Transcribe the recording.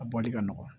A bɔli ka nɔgɔn